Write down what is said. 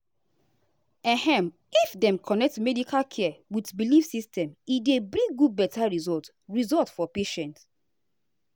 ehm if dem connect medical care with belief system e dey bring good better result result for patient.